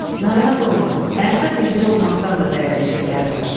Narahat olma, həyatda birinci olmaqdan da dəyərli şeylər var.